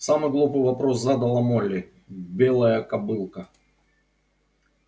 самый глупый вопрос задала молли белая кобылка